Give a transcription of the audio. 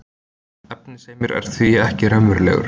efnisheimurinn er því ekki raunverulegur